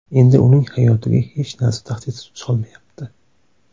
Endi uning hayotiga hech narsa tahdid solmayapti.